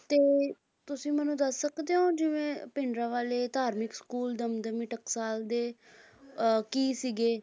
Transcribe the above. ਤੁਸੀਂ ਮੈਨੂੰ ਦੱਸ ਸਕਦੇ ਹੋ ਜਿਵੇਂ ਭਿੰਡਰਾਂਵਾਲੇ ਧਾਰਮਿਕ ਸਕੂਲ ਦਮਦਮੀ ਟਕਸਾਲ ਦੇ ਅਹ ਕੀ ਸੀਗੇ